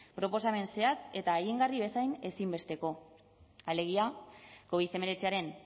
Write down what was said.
proposamen zehatz eta egingarri bezain ezinbesteko alegia covid hemeretziaren